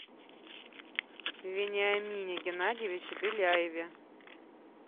вениамине геннадьевиче беляеве